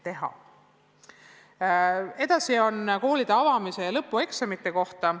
Te küsite koolide avamise ja lõpueksamite kohta.